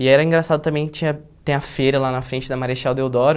E era engraçado também que tinha tem a feira lá na frente da Marechal Deodoro,